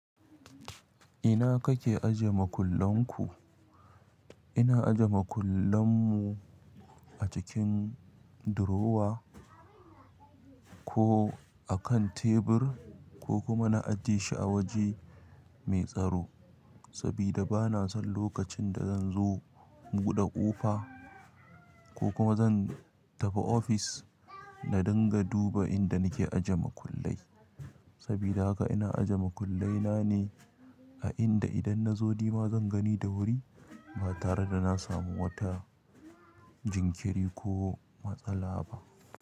Ina kake aje makullan ku? Ina aje makullan mu a cikin durowa ko a kan tebur ko kuma na ajiye shi a waje mai tsaro sabida bana son lokacin da zan zo in buɗe ƙofa ko kuma zan tafi ofis na dinga duba inda nike aje makullai. Sabida haka ina ajje makullai na ne a inda idan na zo nima zan gani da wuri ba tare da na samu wata jinkiri ko matsala ba.